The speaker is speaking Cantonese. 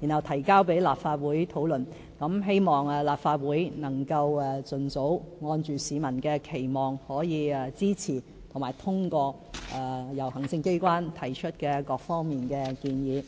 然後提交立法會討論，希望立法會能盡早按市民的期望，支持及通過由行政機關提出的各項建議。